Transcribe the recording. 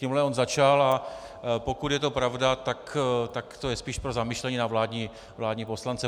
Tímhle on začal, a pokud je to pravda, tak je to spíš pro zamyšlení na vládní poslance.